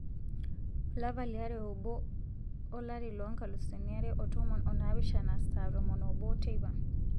olapa li are obo olari lo nkalusuni are otom o naapishana saa tomon oobo teipa